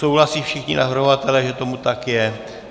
Souhlasí všichni navrhovatelé, že tomu tak je?